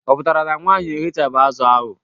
Ọ pụtara na nwaanyi eghechabe azụ ahụ?